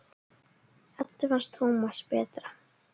Eddu fannst Tómas betra.